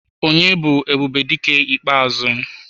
Onye bu Ebubedike ikpeazu?